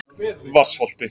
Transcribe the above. Vatnsholti